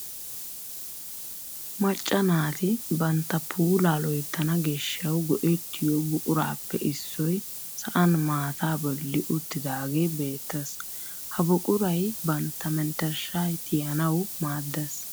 Macca naati bantta puulaa loyttana giishshawu go"ettiyoo buquraappe issoy sa'an maataa bolli uttidagee beettees. ha buquray bantta mentershshaa tiyanawu maaddees.